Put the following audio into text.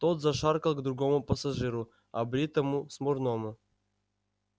тот зашаркал к другому пассажиру обритому смурному